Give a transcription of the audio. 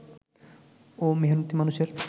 ও মেহনতি মানুষের